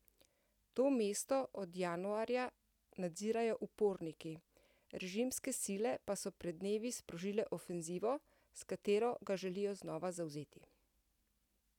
To mesto od januarja nadzirajo uporniki, režimske sile pa so pred dnevi sprožile ofenzivo, s katero ga želijo znova zavzeti.